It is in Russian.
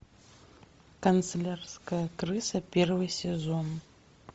канцелярская крыса первый сезон